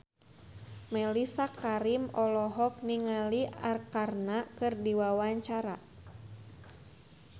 Mellisa Karim olohok ningali Arkarna keur diwawancara